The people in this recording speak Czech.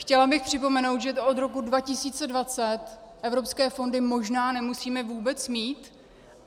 Chtěla bych připomenout, že od roku 2020 evropské fondy možná nemusíme vůbec mít.